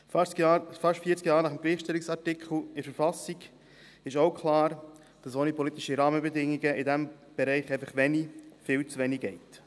Fast vierzig Jahre nach dem Gleichstellungsartikel in der Verfassung ist auch klar, dass ohne politische Rahmenbedingungen in diesem Bereich einfach wenig, viel zu wenig geht.